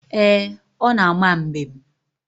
Ee, ọ na-ama mbem.